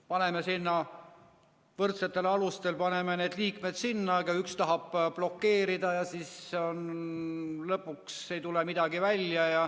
Paneme sinna liikmed võrdsetel alustel, aga üks tahab blokeerida ja lõpuks ei tule midagi välja.